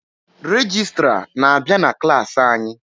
Regịstrá na-abịa na klas anyị.